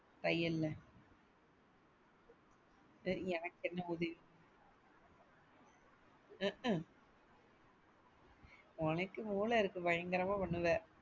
தையல்ல எனக்கு என்ன உதவி உம்க்கும் உனக்கு மூள இருக்கு பயங்கரமா பண்ணுவ.